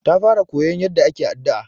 Ta fara koyon yaɗɗa ake addu'a.